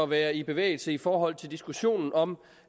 være i bevægelse i forhold til diskussionen om